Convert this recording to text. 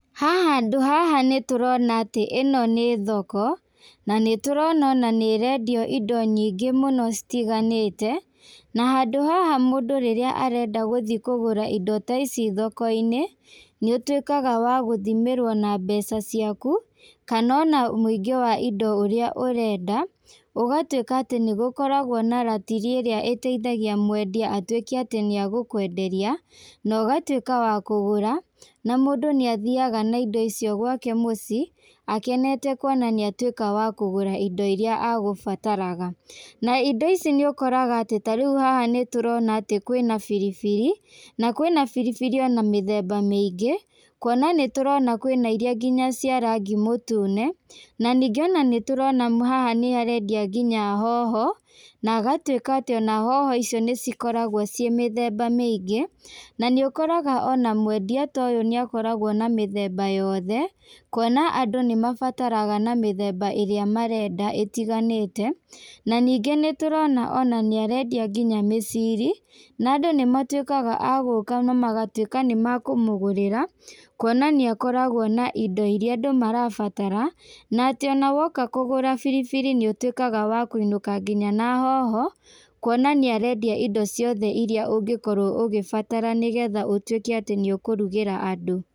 Haha handũ haha nĩtũrona atĩ ĩno nĩ thoko, na nĩtũrona ona nĩrendio indo nyingĩ mũno citiganĩte, na handũ haha mũndũ rĩrĩa arenda gũthi kũgũra indo ta ici thoko-inĩ, nĩũtuĩkaga wa gũthimĩrwo na mbeca ciaku, kana ona mũingĩ wa indo ũrĩa ũrenda, ũgatuĩka atĩ nĩgũkoragwo na ratiri ĩrĩa ĩteithagia mwendia atuĩke atĩ nĩagũkwenderia, na ũgatuĩka wa kũgũra, na mũndũ nĩathiaga na indo icio gwake mũci, akenete kuona nĩatuĩka wa kũgũra indo iria agũbataraga. Na indo ici nĩũkoraga atĩ tarĩũ haha nĩtũrona atĩ kwĩna biribiri, na kwĩna biribiri ona mĩthemba mĩingĩ, kuona nĩtũrona kwĩnairia nginya cia rangi mũtune, na ningĩ ona nĩtũrona haha nĩharendia nginya hoho, na agatuĩka atĩ ona hoho icio nĩcikoragwo ciĩ mĩthemba mĩingĩ, na nĩũkoraga ona mwendia ta ũyũ nĩakoragwo na mĩthemba yothe, kuona andũ nĩmabataraga na mĩthemba ĩrĩa marenda ĩtiganĩte, na ningĩ nĩtũrona ona nĩarendia nginya mĩciri, na andũ nĩmatuĩkaga a gũka namagatuĩka nĩmakũmũgũrĩra, kuona nĩ akoragwo na indo iria andũ marabatara, na atĩ ona woka kũgũra biribiri, nĩũtuĩkaga wa kũinũka nginya na hoho, kuonaniarendia indo ciothe iria ũngĩkorwo ũgĩbatara nĩgetha ũtuĩke atĩ nĩũkũrugĩra andũ.